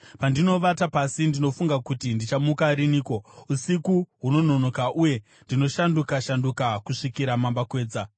Pandinovata pasi ndinofunga kuti, ‘Ndichamuka riniko?’ Usiku hunononoka, uye ndinoshanduka-shanduka kusvikira mambakwedza.